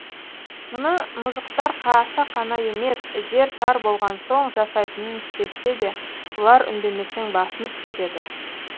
мұны мұжықтар қасақана емес жер тар болған соң жасайтынын сезсе де бұлар үндемесең басынып кетеді